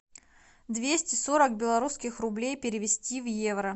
двести сорок белорусских рублей перевести в евро